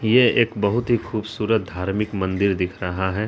ये एक बहुत ही खूबसूरत धार्मिक मंदिर दिख रहा है।